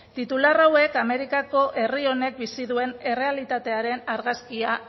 titular hauek amerikako herri honek bizi duen errealitatearen argazkia